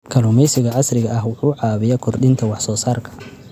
Kalluumeysiga casriga ah wuxuu caawiyaa kordhinta wax soo saarka.